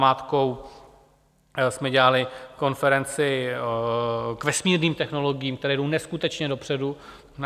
Namátkou jsme dělali konferenci k vesmírným technologiím, které jdou neskutečně dopředu.